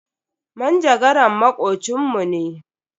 Manjagaran makocin mu ne.